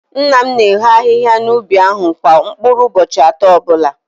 Nna m na-eho ahihia n’ubi ahụ kwa mkpụrụ ụbọchị atọ ọbụla